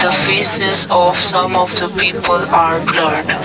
faces of some of the people are blur.